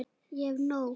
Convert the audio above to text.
Ég hef nóg.